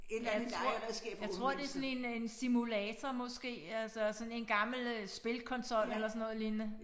Jeg tror jeg tror det sådan en øh en simulator måske altså sådan en gammel øh spilkonsol eller sådan noget lignende